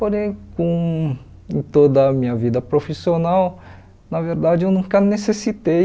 Porém, com em toda a minha vida profissional, na verdade, eu nunca necessitei